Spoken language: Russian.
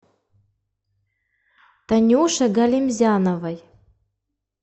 танюше галимзяновой